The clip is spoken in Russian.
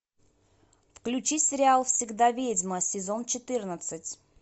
включи сериал всегда ведьма сезон четырнадцать